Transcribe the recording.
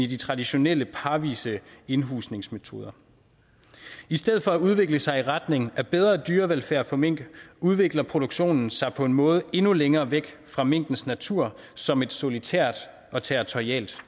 de traditionelle parvise indhusningsmetoder i stedet for at udvikle sig i retning af bedre dyrevelfærd for mink udvikler produktionen sig på en måde endnu længere væk fra minkens natur som et solitært og territorialt